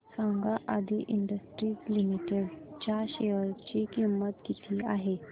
सांगा Aadi industries limited च्या share ची किंमत किती आहे